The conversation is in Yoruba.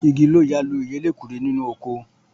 Igi ló ya lu ìyá elékuru nínú oko